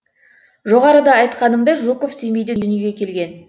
жоғарыда айтқанымдай жуков семейде дүниеге келген